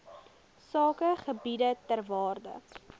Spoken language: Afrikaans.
sakegebiede ter waarde